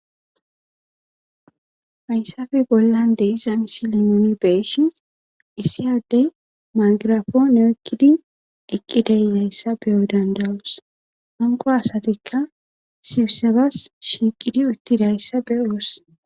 hayssafe bollan deiza misi limooni beeshi issiyaddey magirafoo ne7ekkidi eqqi deyzayssa beyo dandawus hanqo asatikka sibisebas shiiqidi utti dayssa be7oos.